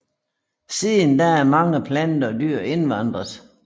Siden da er mange planter og dyr indvandret